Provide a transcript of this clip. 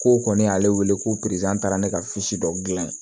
Ko kɔni y'ale wele ko taara ne ka dɔ dilan yen